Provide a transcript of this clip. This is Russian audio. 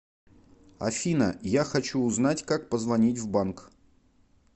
афина я хочу узнать как позвонить в банк